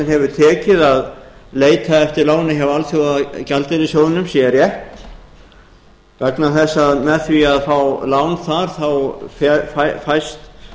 hefur tekið að leita eftir láni hjá alþjóðagjaldeyrissjóðnum sé rétt vegna þess að með því að fá lán þar fæst